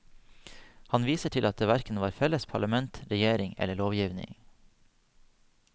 Han viser til at det hverken var felles parlament, regjering eller lovgivning.